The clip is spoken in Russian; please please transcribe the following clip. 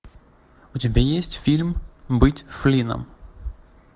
у тебя есть фильм быть флином